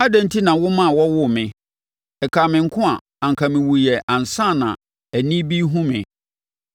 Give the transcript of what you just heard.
“Adɛn enti na woma wɔwoo me? Ɛkaa me nko a anka mewuiɛ ansa na ani bi rehunu me.